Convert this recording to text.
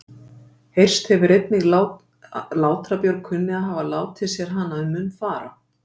Heyrst hefur einnig Látra-Björg kunni að hafa látið sér hana um munn fara.